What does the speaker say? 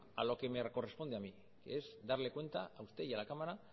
a lo que me corresponde a mí que es darle cuenta a usted y a la cámara